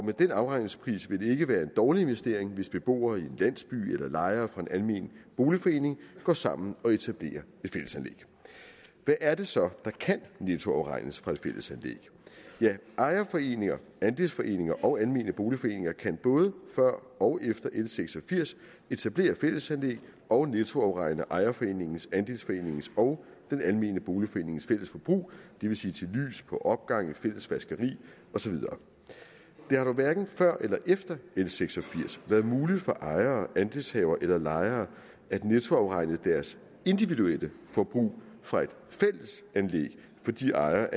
med den afregningspris vil det ikke være en dårlig investering hvis beboere i en landsby eller lejere fra en almen boligforening går sammen og etablerer et fællesanlæg hvad er det så der kan nettoafregnes fra et fællesanlæg ejerforeninger andelsforeninger og almene boligforeninger kan både før og efter l seks og firs etablere et fællesanlæg og nettoafregne ejerforeningens andelsforeningens og den almene boligforenings fælles forbrug det vil sige til lys på opgangen fælles vaskeri og så videre det har dog hverken før eller efter l seks og firs været muligt for ejere andelshavere eller lejere at nettoafregne deres individuelle forbrug fra et fællesanlæg fordi ejer